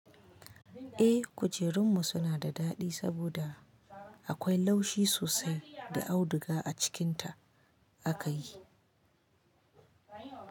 Eh, kujerun mu suna da daɗi saboda akwai laushi sosai da auduga a cikin ta aka yi.